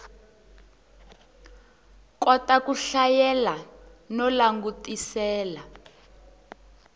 kota ku hlayela no langutisela